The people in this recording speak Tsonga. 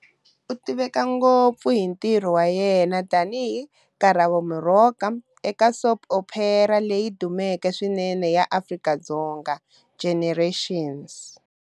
U tiveka ngopfu hi ntirho wa yena tani hi "Karabo Moroka" eka soap opera leyi dumeke swinene ya Afrika-Dzonga,"Generations".